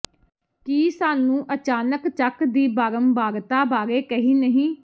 ਕੀ ਸਾਨੂੰ ਅਚਾਨਕ ਚੱਕ ਦੀ ਬਾਰੰਬਾਰਤਾ ਬਾਰੇ ਕਹਿ ਨਹੀ